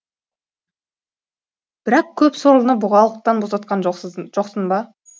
бірақ көп сорлыны бұғалықтан босатқан жоқсың ба